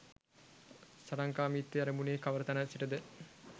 සටන්කාමිත්වය ඇරඹුනේ කවර තැනක සිටද?